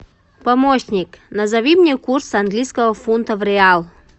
помощник назови мне курс английского фунта в риал